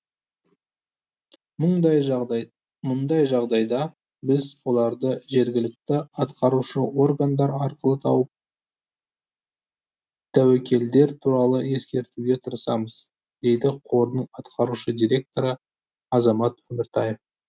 мұндай жағдайда біз оларды жергілікті атқарушы органдар арқылы тауып тәуекелдер туралы ескертуге тырысамыз дейді қордың атқарушы директоры азамат өміртаев